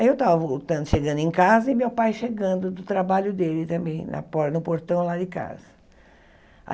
Aí eu estava voltando, chegando em casa, e meu pai chegando do trabalho dele também, na porta no portão lá de casa.